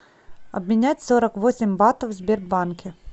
обменять сорок восемь батов в сбербанке